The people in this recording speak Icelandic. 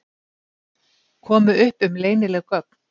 Komu upp um leynileg göng